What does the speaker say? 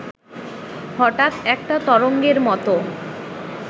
হঠাৎ একটা তরঙ্গের মতো